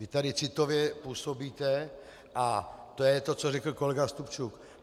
Vy tady citově působíte a to je to, co řekl kolega Stupčuk.